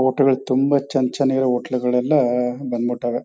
hotel ಗಳು ತುಂಬಾ ಚನ್ನ ಚನ್ನಾಗಿ ಇರೋ ಹೋಟೆಲ್ ಘಾಲ್ಲ್ಯಾ ಬಂದ್ಬಿಟವೇ